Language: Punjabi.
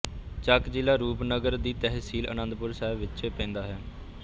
ਚੱਕ ਜ਼ਿਲਾ ਰੂਪਨਗਰ ਦੀ ਤਹਿਸੀਲ ਅਨੰਦਪੁਰ ਸਾਹਿਬ ਵਿੱਚ ਪੈਂਦਾ ਹੈ